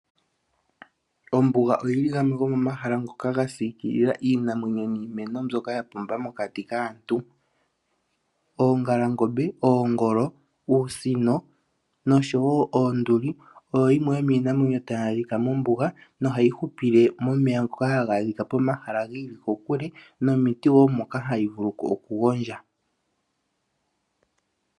Ombinga oyili ngamwe gomomahala ngoka ngasikilila Iinamwenyo niimeno mbyoka yapumba mokati kaantu, Oongalangombe, Ogoolo, Uusino noshowo Oonduli oyo yimwe yominamwenyo taya dhika mombunga nohayi hupile momeya ngoka hangadhika pomahala ngili kokule nomiti wo moka hayivulu oku gondja.